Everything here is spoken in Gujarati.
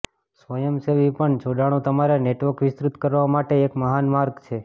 સ્વયંસેવી પણ જોડાણો તમારા નેટવર્ક વિસ્તૃત કરવા માટે એક મહાન માર્ગ છે